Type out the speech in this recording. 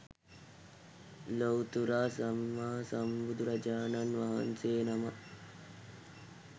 ලොව්තුරා සම්මා සම්බුදුරජාණන් වහන්සේනමක්